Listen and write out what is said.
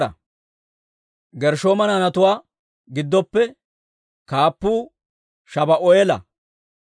Gershshooma naanatuwaa giddoppe kaappuu Shabu'eela.